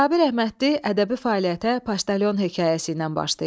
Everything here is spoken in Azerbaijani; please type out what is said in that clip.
Sabir Əhmədli ədəbi fəaliyyətə Poçtalyon hekayəsi ilə başlayıb.